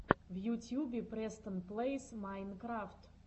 в ютьюбе престон плэйс майнкрафт